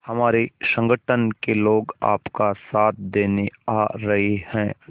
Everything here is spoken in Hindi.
हमारे संगठन के लोग आपका साथ देने आ रहे हैं